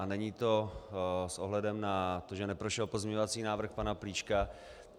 A není to s ohledem na to, že neprošel pozměňovací návrh pana Plíška.